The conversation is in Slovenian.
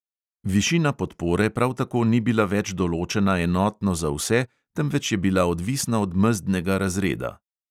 Višina podpore prav tako ni bila več določena enotno za vse, temveč je bila odvisna od mezdnega razreda.